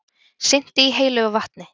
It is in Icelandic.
Synti í heilögu vatni